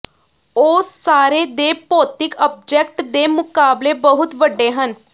ਉਹ ਸਾਰੇ ਦੇ ਭੌਤਿਕ ਆਬਜੈਕਟ ਦੇ ਮੁਕਾਬਲੇ ਬਹੁਤ ਵੱਡੇ ਹਨ